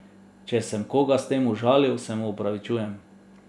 Če sem koga s tem užalil, se mu opravičujem.